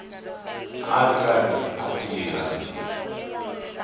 a ri karhi a tirha